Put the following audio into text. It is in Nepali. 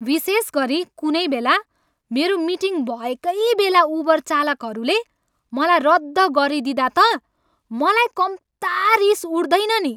विशेष गरी कुनै बेला मेरो मिटिङ भएकै बेला उबर चालकहरूले मलाई रद्द गरिदिँदा त मलाई कम्ता रिस उठ्दैन नि।